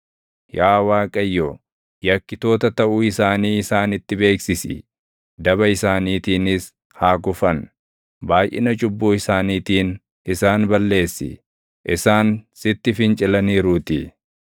Yaa Waaqayyo, yakkitoota taʼuu isaanii isaanitti beeksisi! Daba isaaniitiinis haa kufan. Baayʼina cubbuu isaaniitiin isaan balleessi; isaan sitti fincilaniiruutii.